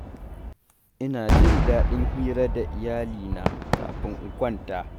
Ina jin daɗin hira da iyali na kafin in kwanta.